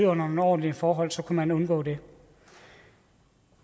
under nogle ordentlige forhold så kunne man undgå det